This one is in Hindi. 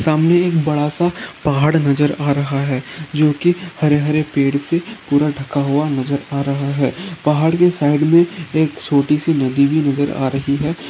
सामने एक बड़ा सा पहाड़ नजर आ रहा है जो कि हरे-हरे पेड़ से पूरा ढका हुआ नजर आ रहा है पहाड़ के साइड में एक छोटी सी नदी भी नजर आ रही है।